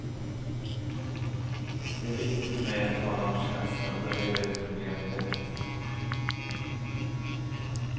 Det är viktigt för mig att tala om känslor och reda ut problem direkt.